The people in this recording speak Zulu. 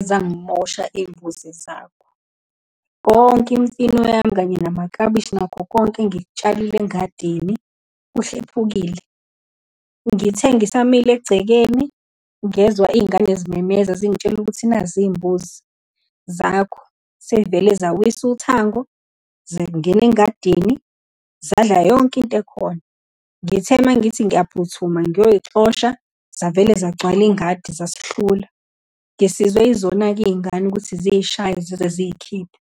zangimosha iy'mbuzi zakho. Konke imfino yami, kanye namaklabishi nakho konke engikutshalile engadini kuhlephukile. Ngithe ngisamile egcekeni, ngezwa iy'ngane zimemeza, zingitshela ukuthi nazi iy'mbuzi zakho, seyivele zawisa uthango, zangena engadini, zadla yonke into ekhona. Ngithe uma ngithi ngiyaphuthuma, ngiyayixosha, zavele zagcwala ingadi zasihlula, ngisizwe izona-ke iy'ngane ukuthi ziyishaye, zizeziyikhiphe.